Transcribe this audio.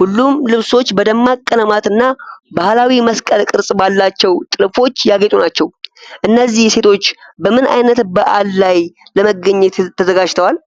ሁሉም ልብሶች በደማቅ ቀለማት እና ባህላዊ መስቀል ቅርጽ ባላቸው ጥልፎች ያጌጡ ናቸው። እነዚህ ሴቶች በምን ዓይነት በዓል ላይ ለመገኘት ተዘጋጅተዋል?